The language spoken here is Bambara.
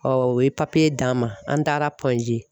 o ye d'an ma an taara G.